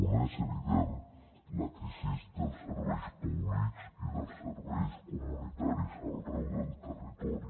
una és evident la crisi dels serveis públics i dels serveis comunitaris arreu del territori